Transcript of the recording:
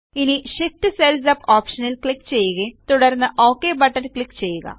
ഇനി Shift cells up ഓപ്ഷനിൽ click ചെയ്യുകയും തുടർന്ന് ഒക് ബട്ടൺ ക്ലിക്ക് ചെയ്യുക